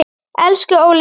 Elsku Óli minn.